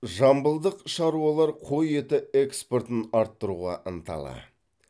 жамбылдық шаруалар қой еті экспортын арттыруға ынталы